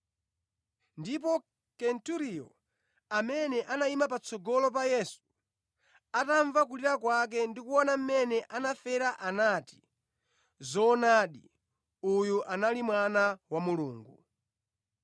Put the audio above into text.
Ndipo Kenturiyo, amene anayima patsogolo pa Yesu, atamva kulira kwake ndi kuona mmene anafera anati, “Zoonadi, uyu anali Mwana wa Mulungu.”